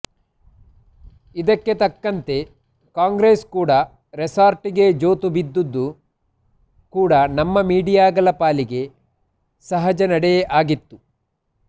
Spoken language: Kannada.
ಇದಕ್ಕೆ ತಕ್ಕಂತೆ ಕಾಂಗ್ರೆಸ್ ಕೂಡ ರೆಸಾರ್ಟಿಗೆ ಜೋತು ಬಿದ್ದುದು ಕೂಡ ನಮ್ಮ ಮೀಡಿಯಾಗಳ ಪಾಲಿಗೆ ಸಹಜ ನಡೆಯೇ ಆಗಿತ್ತು